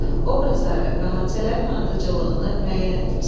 Obrazları və hadisələrin ardıcıllığını müəyyən etmisən.